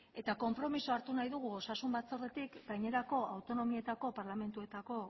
eta konpromisoa hartu nahi dugu osasun batzordetik gainerako autonomietako parlamentuetako